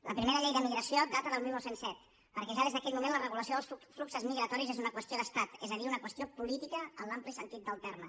la primera llei d’emigració data del dinou zero set perquè ja des d’aquell moment la regulació dels fluxos migratoris és una qüestió d’estat és a dir una qüestió política en l’ampli sentit del terme